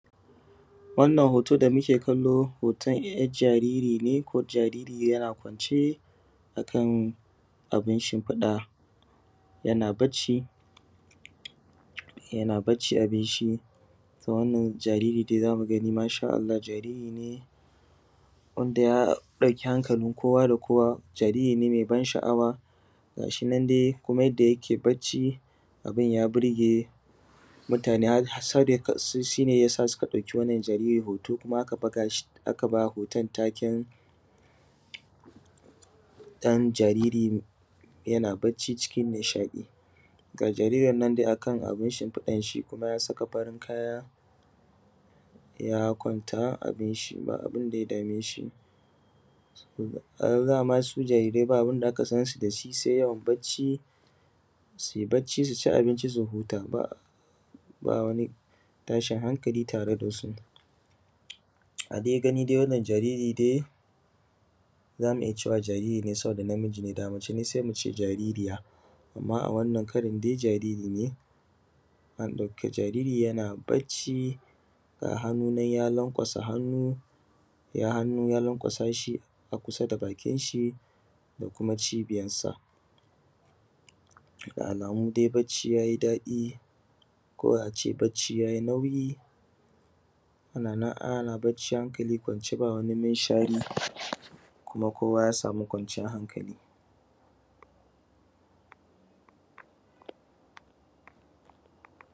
Wannan hoto dai muke kallo hoton er jariri ne ko jaririya yana kwance ne cikin abun shinfiɗa yana bacci yana bacci abunshi. To wannan jariri dai zamuga masha Allah jariri ne wanda ya ɗauki hankalin kowa da kowa jariri ne mai ban sha’awa gashinan dai Kuma yanda yake bacci abun ya burge mutane shine yasa suka ɗaki wannan jariri hoto kuma bugashi akaba hoton taken dan jariri yana bacci cikin nishaɗi. Ga jaririn nan dai kana bin shifiɗanshi kuma ya saka farin kaya ya kwanta abunshi ba abunda ya dameshi. To dama dai su jaririrai ba abunda aka sansu dasi sai yawan bacci suci abunci su huta ba wani tashin hankali tare dasu. A dai gani dai wannan jaririn dai zamu iyya cewa jariri ne saboda namiji ne da mace ce sai muce jaririya amma a wannan karan dai jariri ne an an ɗauki jariri yana bacci ga hannu nan ya lankwasa hannu, ya hannu ya lankwasashi a kusa da bakin shi da kuma cibiyan sa. Da alamu dai bacci yayi daɗi ko ace bacci yayi nauyi anan ana bacci hankali kwance ba wani minshari kuma kowa yasami kwanciyan hankali.